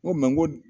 N ko ko